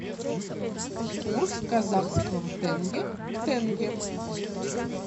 курс казахского тенге к тенге